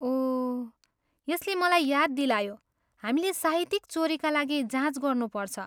ओह! यसले मलाई याद दिलायो, हामीले साहित्यिक चोरीका लागि जाँच गर्नुपर्छ।